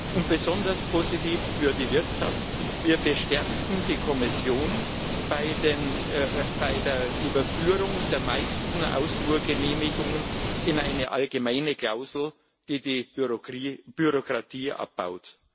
Und besonders positiv für die Wirtschaft Wir bestärken die Kommission bei der Überführung der meisten Ausfuhrgenehmigungen in eine allgemeine Klausel, die die Bürokratie abbaut.